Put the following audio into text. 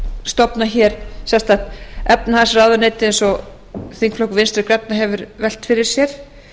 stofna hér sérstakt efnahagsráðuneyti eins og þingflokkur vinstri grænna hefur velt fyrir sér